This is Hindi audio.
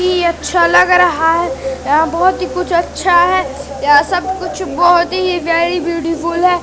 की अच्छा लग रहा है अ बहोत ही कुछ अच्छा है यहां सब कुछ बहोत ही वेरी ब्यूटीफुल है।